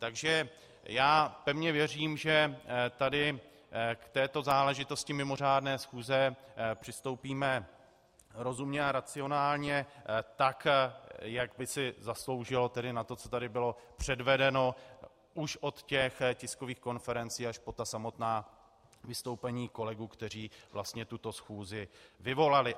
Takže já pevně věřím, že tady k této záležitosti mimořádné schůze přistoupíme rozumně a racionálně tak, jak by si zasloužila, tedy na to, co tady bylo předvedeno už od těch tiskových konferencí až po ta samotná vystoupení kolegů, kteří vlastně tuto schůzi vyvolali.